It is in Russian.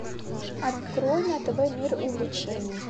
открой на тв мир увлечений